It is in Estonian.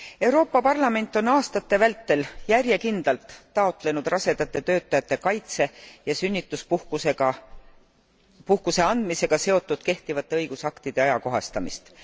Euroopa Parlament on aastate vältel järjekindlalt taotlenud rasedate töötajate kaitse ja sünnituspuhkuse andmisega seotud kehtivate õigusaktide ajakohastamist.